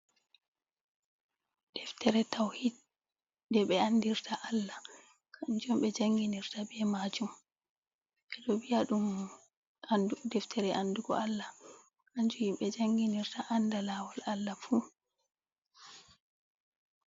Deftere tawhid. Nde ɓe andirta Allah, kanjum ɓe janginirta be maajum, ɓe ɗo viya ɗum deftere andugo Allah kanjum himɓe janginirta, anda laawol Allah fu.